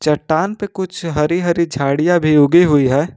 चट्टान पे कुछ हरी हरी झंडिया भी उगी हुई हैं।